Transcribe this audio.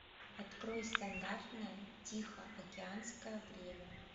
открой стандартное тихоокеанское время